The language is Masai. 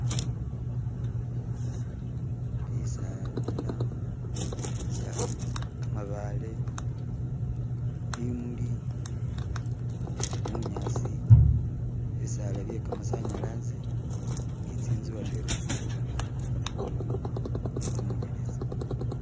Bitsaala, khamabaale, bimuli, bunyaasi, bitsaala bye khamatsanyalaze ni tsitsu hatwela tsili khuboonekela khumukhono khumunyelezi